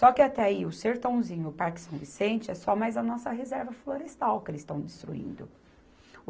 Só que até aí, o Sertãozinho e o Parque São Vicente é só mais a nossa reserva florestal que eles estão destruindo.